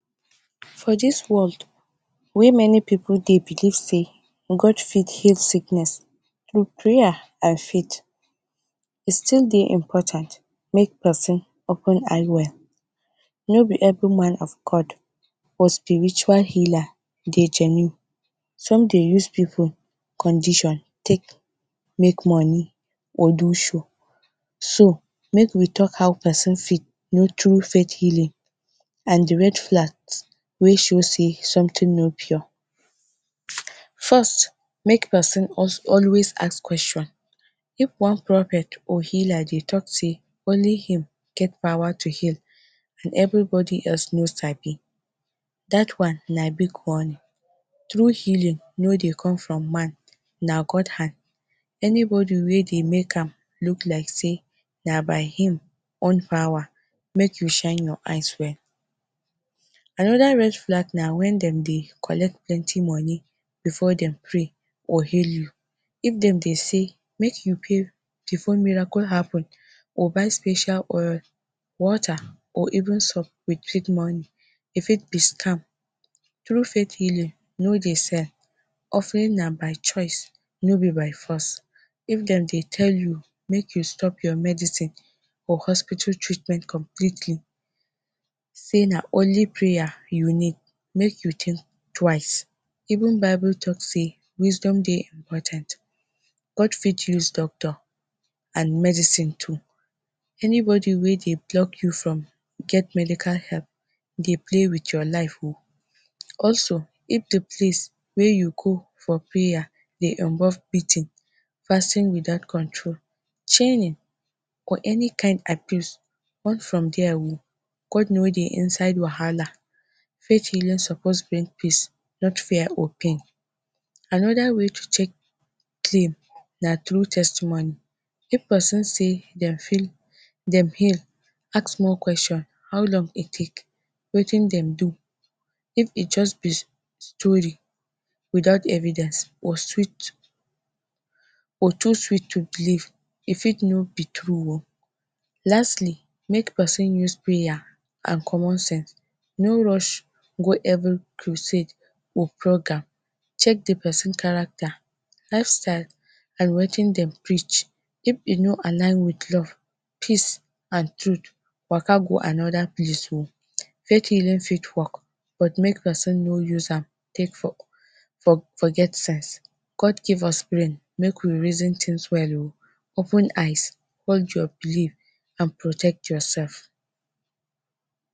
For this world wey plenty pipu de believe sey God fit heal sickness. and fit e still dey important make person open eye well no be every man of God or spiritual healer dey genie some de use pipu condition take make money or do show. So make we talk how person fit meet true faith healing and de red flags wey show sey something no pure. first make person always ask questions if one prophet or healer de talk sey only him get power to heal and everybody else no sabi dat one na big warning true healing no dey come from man na God hand any body wey de make am look like sey na by him own power make you shine your eye well. Another red flag na when dem dey collect plenty money before dem pray or heal you. If dem de say make you pay before miracle happen or buy special oil or water or even soap some with treat money e fit be scam. True faith healing no de sale offering na by choice no be by force if dem de tell you make you stop your medicine or hospital treatment completely sey na only prayer you need make you think twice even bible talk sey wisdom dey important, God fit use doctor and medicine too. anybody wey dey block you from get medical help, dey play with your life o also if de priest wey you go for prayers de involve beating, fasting without control, training, any kind abuse run from there o. God no de inside wahala faith healing suppose bring peace not fear or pain. Another way to check clean na through testimony if person sey dem feel dem heal ask more questions how long e take wetin dem do if e just be story without evidence or too sweet to believe e fit no be true o. lastly make person use prayer and common sense no rush go every crusade or program check d person character, life style and wetin dem preach if e no align with love, peace and truth waka go another place o. faith healing, faith work but make person no use am take work forget sense. God give us brain make we reason thing well o open eyes hold your believe and protect yourself